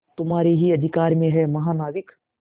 तुम्हारे ही अधिकार में है महानाविक